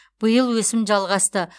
биыл өсім жалғасты